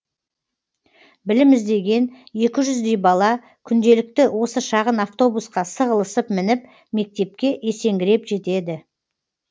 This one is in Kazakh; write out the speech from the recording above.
білім іздеген екі жүздей бала күнделікті осы шағын автобусқа сығылысып мініп мектепке есеңгіреп жетеді